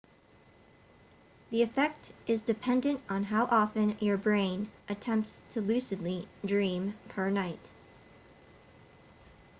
the effect is dependent on how often your brain attempts to lucidly dream per night